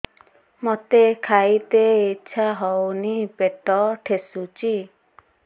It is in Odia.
ମୋତେ ଖାଇତେ ଇଚ୍ଛା ହଉନି ପେଟ ଠେସୁଛି